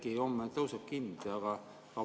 Äkki homme tõusebki hind?